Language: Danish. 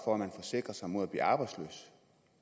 for at man forsikrer sig mod at blive arbejdsløs